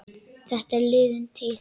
Þetta er liðin tíð.